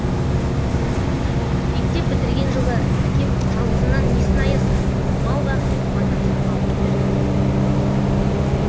мектеп бітірген жылы әкем жалғызынан несін аясын мал бақ деп мотоцикл алып берді